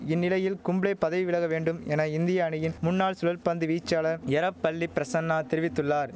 இந்நிலையில் கும்ளே பதவி விலக வேண்டும் என இந்திய அணியின் முன்னாள் சுழல்பந்து வீச்சாளர் எரப்பள்ளி பிரசன்னா தெரிவித்துள்ளார்